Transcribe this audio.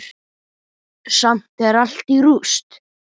Samt er allt í rúst.